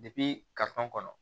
kɔnɔ